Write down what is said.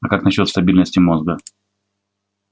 а как насчёт стабильности мозга